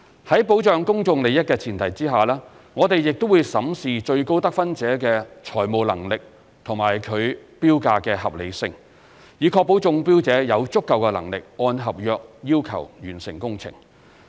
在保障公眾利益的前提下，我們亦會審視最高得分者的財務能力及其標價的合理性，以確保中標者有足夠能力按合約要求完成工程。